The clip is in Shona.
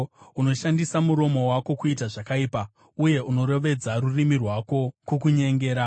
Unoshandisa muromo wako kuita zvakaipa, uye unorovedza rurimi rwako kukunyengera.